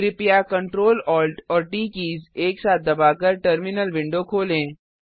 कृपया Ctrl Alt और T keys एक साथ दबाकर टर्मिनल विंडो खोलें